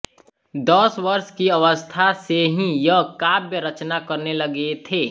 दस वर्ष की अवस्था से ही ये काव्यरचना करने लगे थे